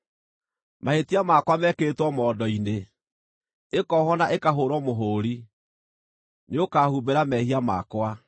Mahĩtia makwa meekĩrĩtwo mondo-inĩ, ĩkoohwo na ĩkahũũrwo mũhũũri; nĩũkahumbĩra mehia makwa.